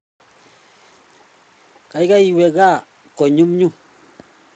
kaikai iwe kaa konyumnyum